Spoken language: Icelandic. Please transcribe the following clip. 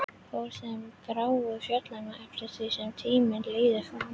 Fór þeim gráu fjölgandi eftir því sem tímar liðu fram.